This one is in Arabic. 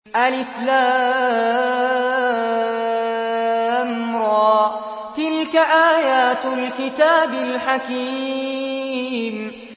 الر ۚ تِلْكَ آيَاتُ الْكِتَابِ الْحَكِيمِ